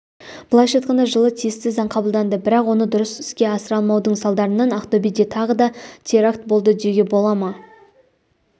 былайша айтқанда жылы тиісті заң қабылданды бірақ оны дұрыс іске асыра алмаудың салдарынан ақтөбеде тағы да терракт болды деуге бола ма